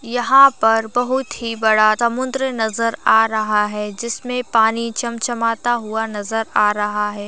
यहाँ पर बहुत ही बड़ा समुद्र नज़र आ रहा है जिसमें पानी चमचमाता हुआ नज़र आ रहा है।